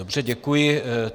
Dobře, děkuji.